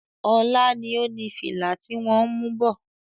Ọlá ni ó ní fìlà ti wọn ń mú bọ̀.